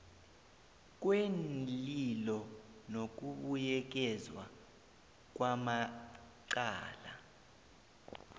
kweenlilo nokubuyekezwa kwamacala